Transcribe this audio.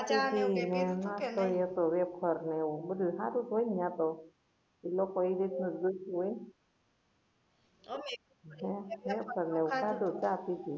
નાસ્તો એ હતો વેફર ને એવુ બધુ હારુ જ હોય ને યા તો લોકો ને એ રીતને જ જોઈતું હોય સાદુ ચાખ્યુ તુ